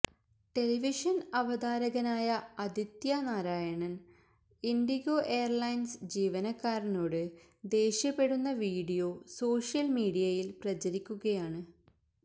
ടെലിവിഷന് അവതാരകനായ അദിത്യ നാരായൺ ഇൻഡിഗോ എയര്ലെെൻസ് ജീവനക്കാരനോട് ദേഷ്യപ്പെടുന്ന വീഡിയോ സോഷ്യല് മീഡിയയില് പ്രചരിക്കുകയാണ്